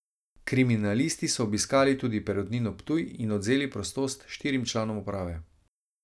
Kriminalisti so obiskali tudi Perutnino Ptuj in odvzeli prostost štirim članom uprave.